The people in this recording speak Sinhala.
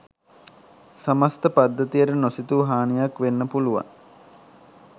සමස්ථ පද්ධතියට නොසිතූ හානියක් වෙන්න පුළුවන්